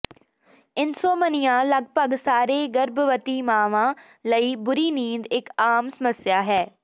insomnia ਲਗਭਗ ਸਾਰੇ ਗਰਭਵਤੀ ਮਾਵਾਂ ਲਈ ਬੁਰੀ ਨੀਂਦ ਇਕ ਆਮ ਸਮੱਸਿਆ ਹੈ